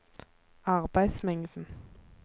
arbeidsmengden